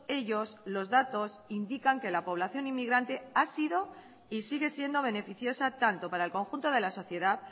ellos los datos indican que la población inmigrante ha sido y sigue siendo beneficiosa tanto para el conjunto de la sociedad